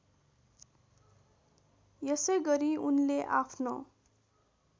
यसैगरी उनले आफ्नो